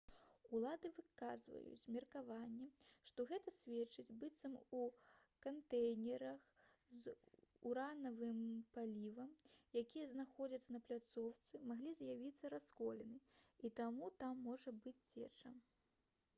улады выказваюць меркаванне што гэта сведчыць быццам у кантэйнерах з уранавым палівам якія знаходзяцца на пляцоўцы маглі з'явіцца расколіны і таму там можа быць цеча